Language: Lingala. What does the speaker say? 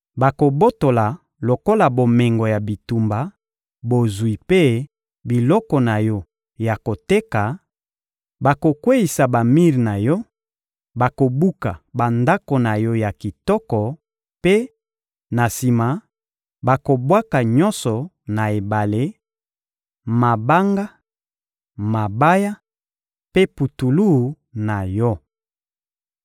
Bakobotola lokola bomengo ya bitumba bozwi mpe biloko na yo ya koteka, bakokweyisa bamir na yo, bakobuka bandako na yo ya kitoko mpe, na sima, bakobwaka nyonso na ebale: mabanga, mabaya mpe putulu na yo.